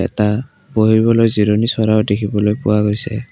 এটা বহিবলৈ জিৰণি চ'ৰাও দেখিবলৈ পোৱা গৈছে।